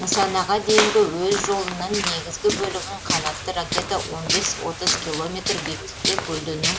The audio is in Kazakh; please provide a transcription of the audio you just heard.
нысанаға дейінгі өз жолының негізгі бөлігін қанатты ракета он бес отыз километр биіктікте көлденең